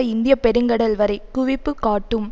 இந்தியப்பெருங்கடல் வரை குவிப்பு காட்டும்